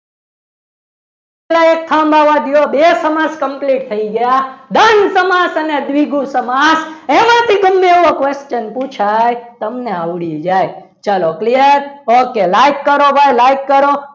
બે સમાજ complete થઈ ગયા દમ સમાજ અને દ્વિગુ સમાસ એમાંથી તમને એવો question પુછાય તમને આવડી જાય ચલો clear okay bye like કરો, like કરો.